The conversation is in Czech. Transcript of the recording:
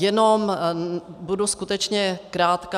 Jenom budu skutečně krátká.